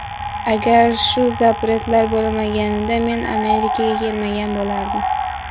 Agar shu ‘zapret’lar bo‘lmaganida men Amerikaga kelmagan bo‘lardim.